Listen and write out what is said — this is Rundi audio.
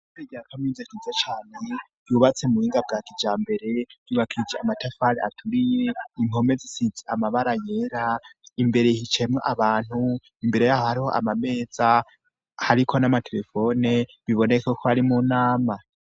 Re ryakamizi kiza cane yubatse mu binga bwa kija mbere yubakije amatafali aturiye impome zisitse amabara yera imbere hicayemwo abantu imbere yaho hariho amameza hariko n'amaterefone biboneke ko ari mu nama.